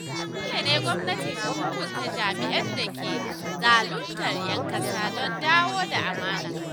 Dole ne gwamnati ta hukunta jami’an da ke zaluntar ‘yan kasa don dawo da amana.